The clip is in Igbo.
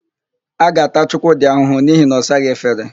A ga-ata Chukwudị ahụhụ n'ihi na ọ saghị efere.